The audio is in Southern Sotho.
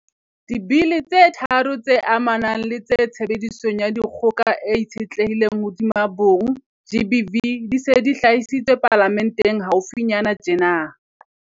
Dibili tse tharo tse amanang le tshebediso ya dikgoka e itshetlehileng hodima bong, GBV, di se di hlahisitswe Palamenteng haufinyana tjena.